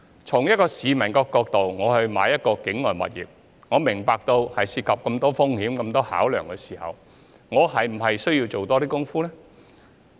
從市民購買境外物業的角度而言，如果明白到當中涉及很多風險和考量，那麼是否應該多做一些工夫呢？